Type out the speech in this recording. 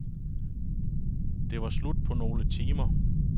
Det var slut på nogle timer.